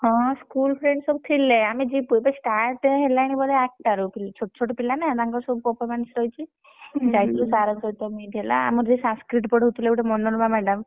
ହଁ school friend ସବୁ ଥିଲେ ଯିବୁ ବୋଧେ start ହେଲାଣି ବୋଧେ ଆଠଟା ରୁ, ଛୋଟ ଛୋଟ ପିଲା ନା ତାଙ୍କର ସବୁ performance ରହିଛି ଯାଇଥିଲୁ sir କଣ ସହିତ meet ହେଲା ଆମର ଯିଏ Sanskrit ପଢଉଥିଲେ ମନୋରମା madam ।